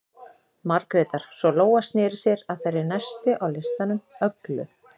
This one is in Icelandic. Margrétar, svo Lóa sneri sér að þeirri næstu á listanum, Öglu